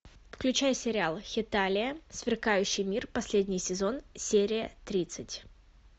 включай сериал хеталия сверкающий мир последний сезон серия тридцать